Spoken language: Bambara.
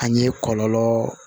A ye kɔlɔlɔ